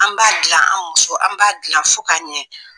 An b'a dilan an muso an b'a dilan fo k'a ɲɛ